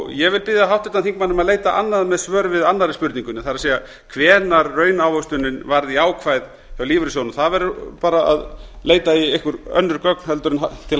ég vil biðja háttvirtan þingmann um að leita annað með svör við annarri spurningunni það er hvenær raunávöxtunin varð jákvæð hjá lífeyrissjóðunum það verður bara að leita í einhver önnur gögn til